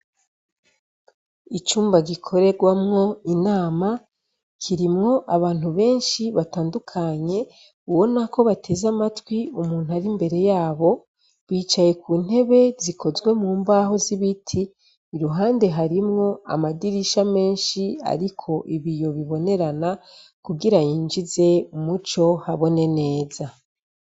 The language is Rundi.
Icumba gikorerwamwo inama, kirimwo abantu benshi batandukanye ubona ko bateze amatwi umuntu ari imbere yabo bicaye ku ntebe zikozwe mu mbaho z’ibiti, iruhande harimwo amadirisha menshi ariko ibiyo bibonerena kugira yinjize umuco habone neza.